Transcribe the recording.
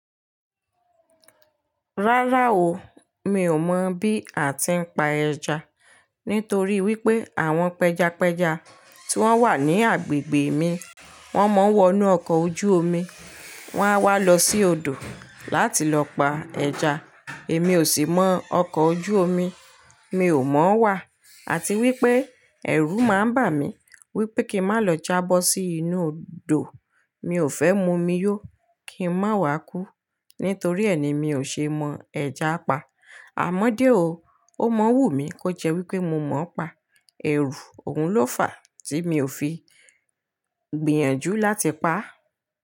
Rárá o, mi ò mọ̀ bí a ti ń pa ẹja. Nítorí wípé àwọn pẹjapẹja tí wọ́n wà ní agbègbè mi, wọ́n mọ̀ọ́ wọnú ọkọ̀ ojú omi, wọ́n a wá lọ sí odò láti lọ pa ẹja. Èmi ò sì mọ ọkọ̀ ojú omi, mi ò mọ̀ wà. Àti wípé ẹ̀rù máa ń bà mí wípé kí n má lọ jábọ̀ sí inú odò, mi ò fẹ́ mu omi yó, kí n má wa kú. Nítorí ẹni mi ò ṣe mọ ẹja pa. Àmọ́dé o, ó mọ wù mí kó jẹ́ wípé mo mọ ọ pa, ẹ̀rù òun ló fàá tí mi ò fi gbìyànjú láti pa á.